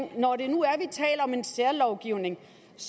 når vi nu taler om en særlovgivning